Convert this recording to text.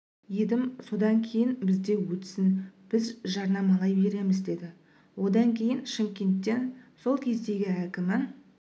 едім содан кейін бізде өтсін біз жарнамалай береміз деді одан кейін шымкенттен сол кездегі әкімі